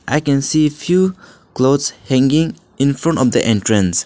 i can see few clothes hanging in front of the entrance.